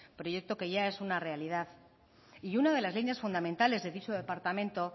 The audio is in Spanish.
proyecto que ya es una realidad y una de las líneas fundamentales de dicho departamento